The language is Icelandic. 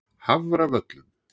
Hafravöllum